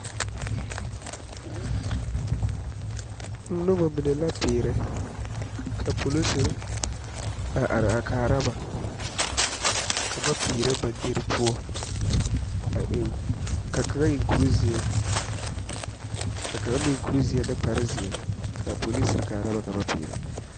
Noba mine la pēērɛ ,ka polisiri are kaara ba ka ba pēērɛ ba dere poɔ ka kaŋa seɛ kuri zeɛ ka kaŋa meŋ seɛ kuri zeɛ de kparre zeɛ kaa polisiri kaa ba ka ba pēēre.